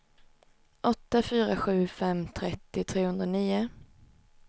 åtta fyra sju fem trettio trehundranio